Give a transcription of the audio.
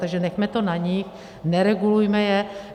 Takže nechme to na nich, neregulujme je.